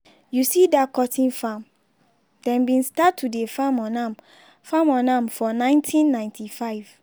you see dat cocoa farm dem bin start to dey farm on am farm on am for nineteen ninety five.